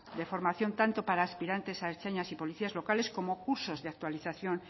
de formación tanto para aspirantes a ertzainas y policías locales como cursos de actualización